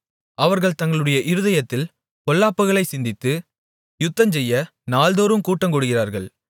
அவர்கள் தங்களுடைய இருதயத்தில் பொல்லாப்புகளைச் சிந்தித்து யுத்தஞ்செய்ய நாள்தோறும் கூட்டங்கூடுகிறார்கள்